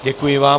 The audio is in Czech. Děkuji vám.